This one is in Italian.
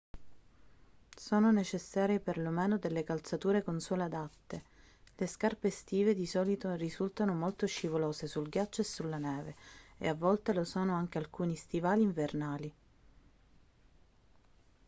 sono necessarie per lo meno delle calzature con suole adatte le scarpe estive di solito risultano molto scivolose sul ghiaccio e sulla neve e a volte lo sono anche alcuni stivali invernali